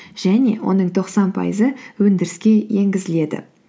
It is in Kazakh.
және оның тоқсан пайызы өндіріске енгізіледі